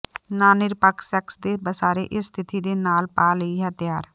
ਨਾ ਨਿਰਪੱਖ ਸੈਕਸ ਦੇ ਸਾਰੇ ਇਸ ਸਥਿਤੀ ਦੇ ਨਾਲ ਪਾ ਲਈ ਤਿਆਰ ਹੈ